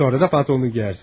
Sonra da paltonu geyinərsən.